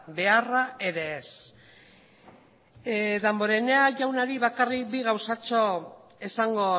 beharra ere ez damborenea jaunari bakarrik bi gauzatxo esango